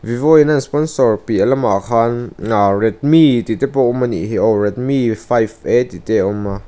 vivo in a an sponsor piah lamah khan redmi tih te pawh awm a nihhi aw redmi five a tihte awm a.